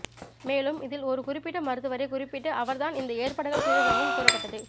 மேலும் இதில் ஒரு குறிப்பிட்ட மருத்துவரை குறிப்பிட்டு அவர் தான் இந்த ஏற்பாடுகள் செய்ததாகவும் கூறப்பட்டது